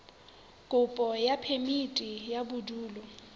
kopo ya phemiti ya bodulo